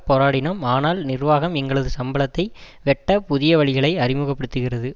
போராடினோம் ஆனால் நிர்வாகம் எங்களது சம்பளத்தை வெட்ட புதிய வழிகளை அறிமுக படுத்துகிறது